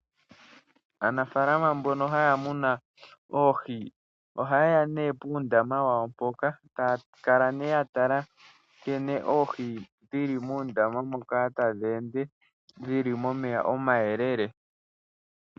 Aanafalama mbono haya munu oohi ohaye ya nduno puundama wawo mpoka taya kala ya tala nkene oohi dhi li muundama mboka tadhi ende dhi li momeya omayelele.